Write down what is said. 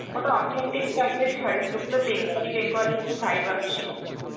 ওটা authentic type এর শাড়ি ছিল, পুরো bengali bengali এরকম vibe আসছিল.